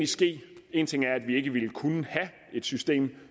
ske én ting er at vi ikke ville kunne have et system